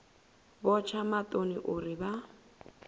vho tsha maṱoni uri vha